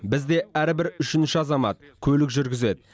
бізде әрбір үшінші азамат көлік жүргізеді